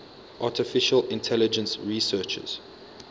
artificial intelligence researchers